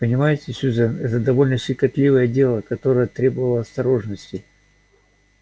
понимаете сьюзен это довольно щекотливое дело которое требовало осторожности